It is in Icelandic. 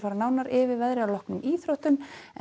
nánar yfir veðrið að loknum íþróttum